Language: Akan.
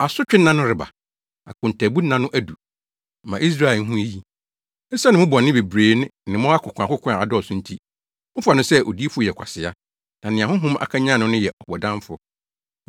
Asotwe nna no reba, akontaabu nna no adu; ma Israel nhu eyi. Esiane mo bɔne bebrebe ne mo akokoakoko a adɔɔso nti mofa no sɛ odiyifo yɛ kwasea, na nea honhom akanyan no no yɛ ɔbɔdamfo.